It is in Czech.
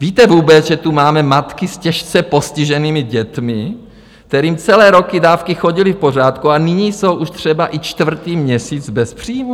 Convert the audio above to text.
Víte vůbec, že tu máme matky s těžce postiženými dětmi, kterým celé roky dávky chodily v pořádku, a nyní jsou už třeba i čtvrtý měsíc bez příjmů?